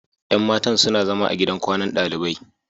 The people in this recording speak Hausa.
Yan matan suna zama a gidan kwanan dalibai.